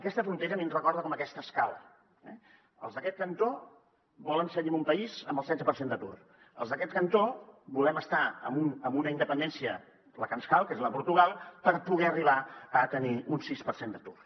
aquesta frontera a mi em recorda aquesta escala els d’aquest cantó volen seguir en un país amb el setze per cent d’atur els d’aquest cantó volem estar en una independència la que ens cal que és la de portugal per poder arribar a tenir un sis per cent d’atur